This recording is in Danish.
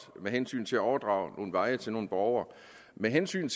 med hensyn til at overdrage nogle veje til nogle borgere med hensyn